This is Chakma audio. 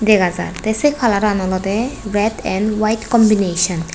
degajai te se kalaran olode red and white combination.